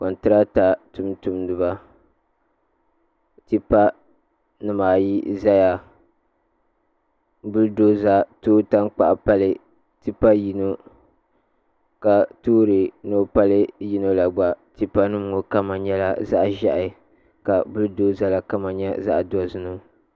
Kontrata tumtumdiba tipa nimaayi n ʒɛya bul doza tooi tankpaɣu pali tipa yino ka toori ni o pali yino la gba tipa nim ŋo kama nyɛla zaɣ ʒiɛhi ka bul doza ŋo kama nyɛ zaɣ dozim